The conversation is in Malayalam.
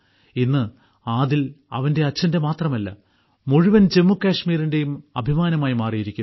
ഇന്ന് ആദിൽ അവന്റെ അച്ഛന്റെ മാത്രമല്ല മുഴുവൻ ജമ്മുകാശ്മിരിന്റെയും അഭിമാനമായി മാറിയിരിക്കുന്നു